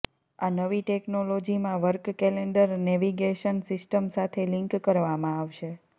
આ નવી ટેક્નોલોજીમાં વર્ક કેલેન્ડર નેવિગેશન સિસ્ટમ સાથે લિંક કરવામાં આવશે